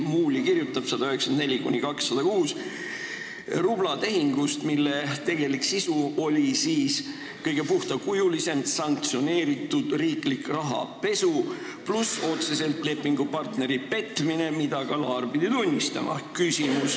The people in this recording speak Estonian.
Muuli kirjutab lehekülgedel 194–206 rublatehingust, mille tegelik sisu on kõige puhtakujulisem sanktsioneeritud riiklik rahapesu, pluss otsene lepingupartneri petmine, mida ka Laar on pidanud tunnistama.